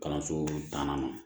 Kalanso tannan ma